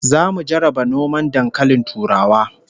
Zamu jarraba noman dankalin turawa